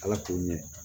Ala k'o ɲɛ